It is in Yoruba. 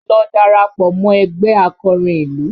Lọ darapọ̀ mọ ẹgbẹ́ akọrin ìlú!